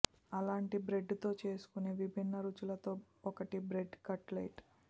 అలాంటి బ్రెడ్ తో చేసుకొనే విభిన్న రుచులలో ఒకటి బ్రెడ్ కట్ లెట్